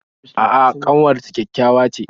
A'a ƙanwar ta ƙyaƙyawa ce